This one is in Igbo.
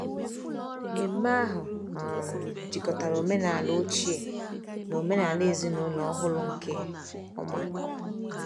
Ememme ahụ um jikọtara omenala ochie na omenala ezinụlọ ọhụrụ nke ọma.